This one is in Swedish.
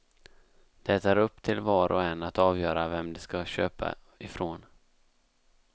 Det är upp till var och en att avgöra vem de ska köpa ifrån.